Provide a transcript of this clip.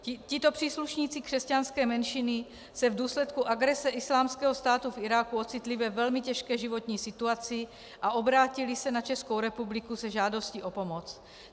Tito příslušníci křesťanské menšiny se v důsledku agrese Islámského státu v Iráku ocitli ve velmi těžké životní situaci a obrátili se na Českou republiku se žádostí o pomoc.